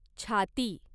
छाती